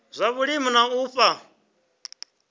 zwa vhulimi na u fha